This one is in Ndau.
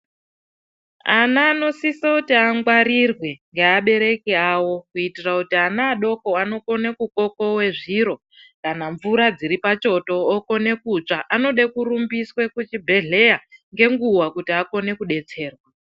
Ana anosisa kuti angwarirwe ngeabereki avo kuitira kuti ana adoko anokona kukokowa zviro kana mvura dziripachoto okona kutsva. Anoda kurumbiswa kuchibhedhlera ngenguva kuti akone kudetsererwa.